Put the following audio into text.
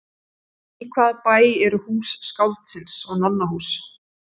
Í hvaða bæ eru Hús skáldsins og Nonnahús?